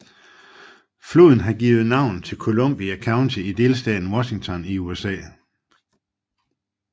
Floden har givet navn til Columbia County i delstaten Washington i USA